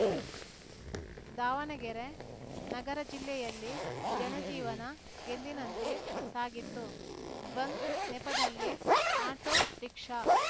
ದಾವಣಗೆರೆ ನಗರ ಜಿಲ್ಲೆಯಲ್ಲಿ ಜನಜೀವನ ಎಂದಿನಂತೆ ಸಾಗಿತ್ತು ಬಂದ್‌ ನೆಪದಲ್ಲಿ ಆಟೋ ರಿಕ್ಷಾ